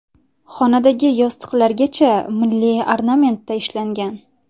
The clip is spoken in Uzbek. Xonadagi yostiqlargacha milliy ornamentda ishlangan.